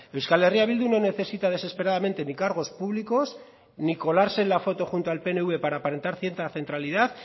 euskal herria bildu no necesita desesperadamente ni cargos públicos ni colarse en la foto junto al pnv para aparentar cierta centralidad